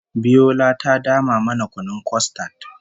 Biola ta dama mana kunun kostad